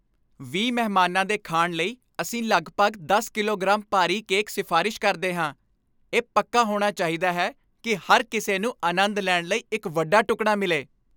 ਵੀਹ ਮਹਿਮਾਨਾਂ ਦੇ ਖਾਣ ਲਈ, ਅਸੀਂ ਲਗਭਗ ਦਸ ਕਿਲੋਗ੍ਰਾਮ ਭਾਰੀ ਕੇਕ ਸਿਫਾਰਸ਼ ਕਰਦੇ ਹਾਂ ਇਹ ਪੱਕਾ ਹੋਣਾ ਚਾਹੀਦਾ ਹੈ ਕੀ ਹਰ ਕਿਸੇ ਨੂੰ ਆਨੰਦ ਲੈਣ ਲਈ ਇੱਕ ਵੱਡਾ ਟੁਕੜਾ ਮਿਲੇ